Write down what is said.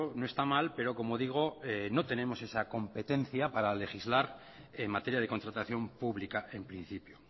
no esta mal pero como digo no tenemos esa competencia para legislar en materia de contratación pública en principio